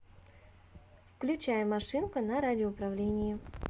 включай машинка на радиоуправлении